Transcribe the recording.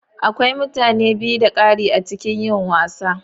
Akwai mutane biyu da ƙari a cikin yin wasa.